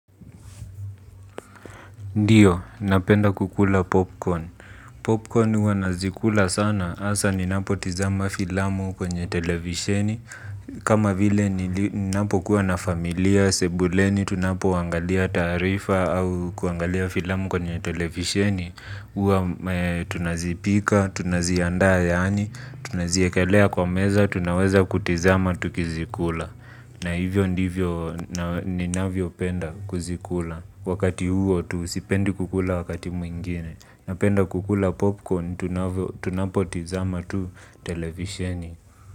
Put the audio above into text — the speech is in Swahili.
Ndiyo, napenda kukula popcorn. Popcorn uwa nazikula sana. Asa ninapo tizama filamu kwenye televisheni. Kama vile ninapo kuwa na familia, sebuleni, tunapo wangalia tarifa au kuangalia filamu kwenye televisheni. Uwa tunazipika, tunazianda yaani, tunazikelea kwa meza, tunaweza kutizama tukizikula na hivyo ndivyo ninavyopenda kuzikula, wakati huo tu sipendi kukula wakati mwingine. Napenda kukula popcorn, tunapotazama tu televisheni.